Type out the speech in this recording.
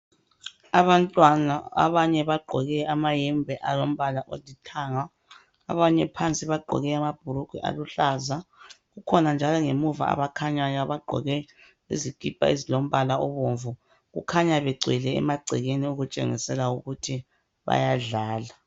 Abantwana abanye bagqoke amayembe alombala olithanga. Abanye phansi bagqoke amabhulugwe aluhlaza. Kukhona njalo abangemuva abakhanyayo abagqoke izikipa ezilombala obomvu Kukhanya egcwele emagcekeni okutshengisela ukuthi bayadlala.